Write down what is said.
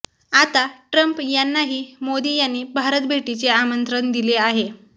आता ट्रम्प यांनाही मोदी यांनी भारतभेटीचे आमंत्रण दिले आहे